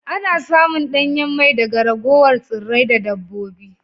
Ana samun danyen mai daga ragowar tsirrai da dabbobi